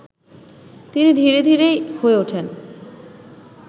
তিনি ধীরে-ধীরে হয়ে উঠেন